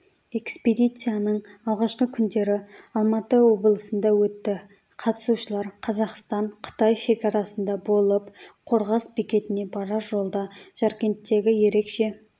экспедицияның алғашқы күндері алматы облысында өтті қатысушылар қазақстан-қытай шекарасында болып қорғас бекетіне барар жолда жаркенттегі ерекше